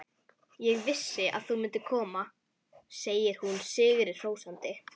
Ég vissi að þú myndir koma, segir hún sigri hrósandi.